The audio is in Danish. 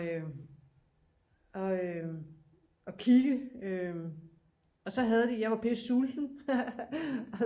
Øh og øh og kigge og så havde de jeg var pisse sulten